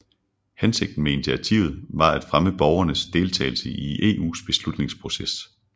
Hensigten med initiativet var at fremme borgernes deltagelse i EUs beslutningsproces